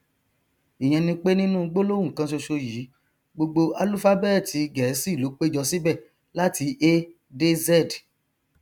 ìyẹn ni pé nínú gbólóhùn kan ṣoṣo yìí gbogbo álúfábẹẹtì gẹẹsì ló péjọ síbẹ láti a dé z